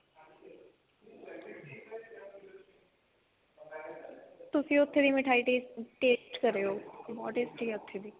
ਤੁਸੀਂ ਉੱਥੇ ਦੀ ਮਿਠਾਈ taste ਕਰਿਓ ਬਹੁਤ tasty ਹੈ ਉੱਥੇ ਦੀ